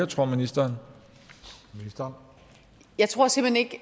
tror ministeren så